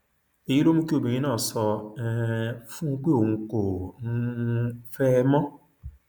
èyí ló mú kí obìnrin náà sọ um fún un pé òun kò um fẹ ẹ mọ